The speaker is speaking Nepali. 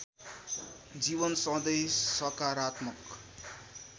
जीवन सधैं सकारात्मक